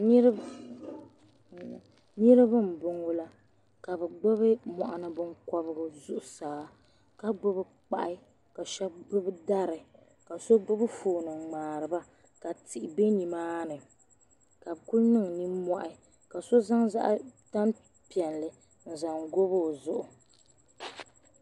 Niribi n bɔŋɔ la ka bi gbubi mɔɣuni binkɔbigu zuɣusaa ka gbubi kpahi ka shɛbi gbubi dari ka so gbubi doon n ŋmari ba ka tihi bɛ nimaani ka bi kuli niŋ nimɔhi ka so zaŋ tani piɛlli n zaŋ gɔ bi o zuɣu.